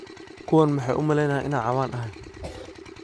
Kuwan maxa umaleyna inan cawan ahy.